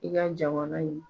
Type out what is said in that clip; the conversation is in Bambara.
I ka jamana in